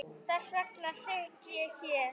Þess vegna sit ég hér.